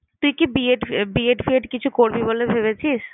তুই কি B. EdB. Ed ফিএড কিছু করবি বলে ভেবেছিস?